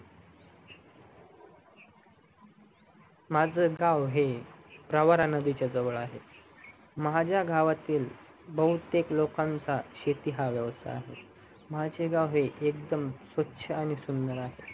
माझ गाव आहे प्रवारा नदीच्या जवळ आहे माझ्या गावातील बहुतेक लोकांचा शेतीन्ह वेवसाय आहेत माझे गाव हे एकदम स्वछ आणि सुंदर आहे